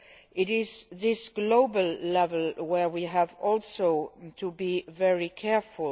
It is at this global level where we need also to be very careful.